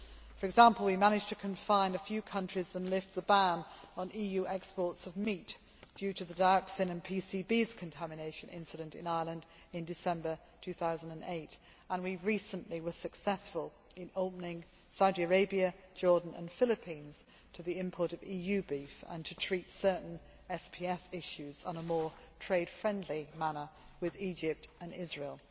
For example, we managed to confine a few countries and lift the ban on EU exports of meat due to the dioxin and PCBs contamination incident in Ireland in December 2008, and recently we were successful in opening Saudi Arabia, Jordan and the Philippines to the import of EU beef and to treat certain SPS issues in a more trade friendly manner with Egypt and Israel.